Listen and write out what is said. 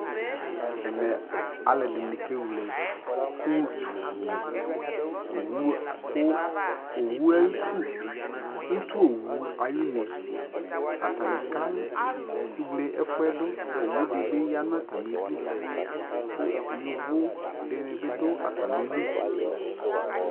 ɛmɛ kɛwlɛ ʋtʋ ni, ɔwʋ kʋ, ɔwʋɛ ayi ʋtʋ, ʋtʋ ɔwʋ ayi ʋnɛ ,atani kɛwlɛ ɛƒʋɛdʋ, ɔwʋ dibi yanʋ atami idʋ kʋ yɔvɔ dini bidʋatamili